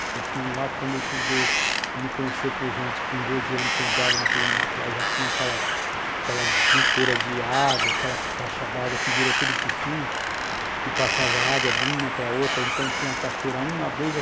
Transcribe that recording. Porque aquilo lá, quando eu cheguei a me conhecer por gente, com doze anos que eu entrava naquele mato lá, já tinha aquelas dutoras de água, aquelas caixas d'água que virou tudo piscina, que passava água de uma para outra, então tinha cachoeira a um, a dois, a três e a quatro.